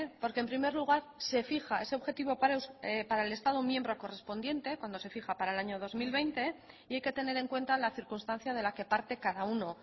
porque en primer lugar se fija ese objetivo para el estado miembro correspondiente cuando se fija para el año dos mil veinte y hay que tener en cuenta la circunstancia de la que parte cada uno